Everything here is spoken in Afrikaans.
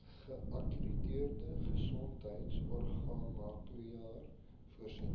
geakkrediteerde gesondheidsorgmakelaar voorsien